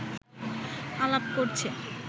আলাপ করছে